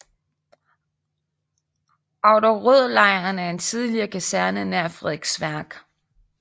Auderødlejren er en tidligere kaserne nær Frederiksværk